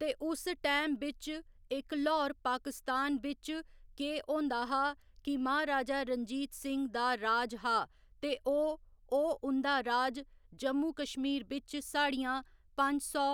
ते उस टैम बिच इक ल्हौर पाकिस्तान बिच केह् होंदा हा कि महाराजा रंजीत सिंह दा राज हा ते ओह् ओह् उं'दा राज जम्मू कश्मीर बिच साढ़ियां पंज सौ